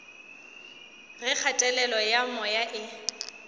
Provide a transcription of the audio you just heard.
ge kgatelelo ya moya e